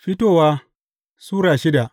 Fitowa Sura shida